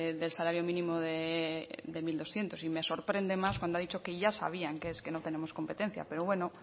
del salario mínimo de mil doscientos y me sorprende más cuando ha dicho que ya sabían que es que no tenemos competencia pero bueno